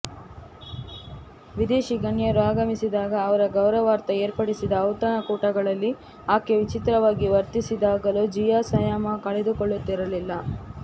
ವಿದೇಶಿ ಗಣ್ಯರು ಆಗಮಿಸಿದಾಗ ಅವರ ಗೌರವಾರ್ಥ ಏರ್ಪಡಿಸಿದ ಔತಣಕೂಟಗಳಲ್ಲಿ ಆಕೆ ವಿಚಿತ್ರವಾಗಿ ವರ್ತಿಸಿದಾಗಲೂ ಜಿಯಾ ಸಂಯಮ ಕಳೆದುಕೊಳ್ಳುತ್ತಿರಲಿಲ್ಲ